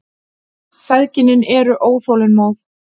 Feðginin eru óþolinmóð.